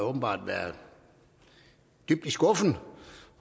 åbenbart været dybt i skuffen